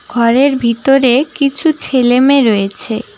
ঘরের ভিতরে কিছু ছেলে মেয়ে রয়েছে।